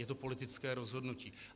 Je to politické rozhodnutí.